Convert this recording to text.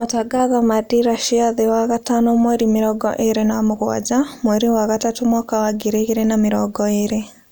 Matangatho ma dira cia thii wagatano mweri mĩrongo ĩĩrĩ na mũgwanja, mweri wa gatatu mwaka wa ngiri igĩrĩ na mĩrongo ĩĩrĩ